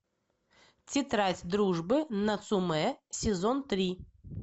тетрадь дружбы нацумэ сезон три